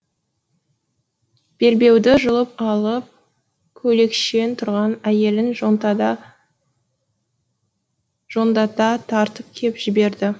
белбеуді жұлып алып көйлекшең тұрған әйелін жондата тартып кеп жіберді